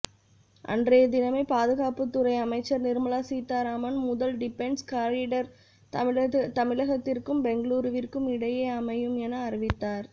அன்றைய தினமே பாதுகாப்புத்துறை அமைச்சர் நிர்மலா சீதாராமன் முதல் டிஃபென்ஸ் காரிடர் தமிழகத்திற்கும் பெங்களூருவிற்கும் இடையே அமையும் என அறிவித்தார்